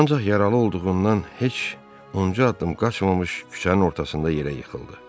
Ancaq yaralı olduğundan heç uncu addım qaçmamış küçənin ortasında yerə yıxıldı.